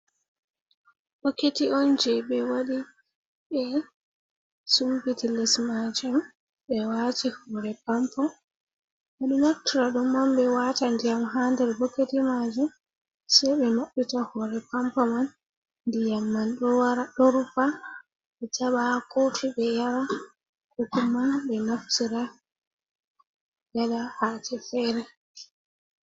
Boketi'on je ɓe waɗi be Sumpiti les majum, ɓe wati hore Pampo, ɓe ɗo naftira ɗum'on ɓe wata ndiyam ha der boketi majum, se ɓe mabbita hore Pampo man ndiya man ɗo wata ɗo rufa, ɓe jaɓa ha kofi ɓe yara, ko kuma ɓe naftira waɗa haje fere.